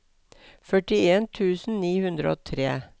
førtien tusen ni hundre og tre